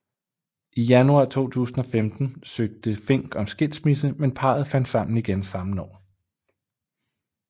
I januar 2015 søgte Fink om skilsmisse men parret fandt sammen igen samme år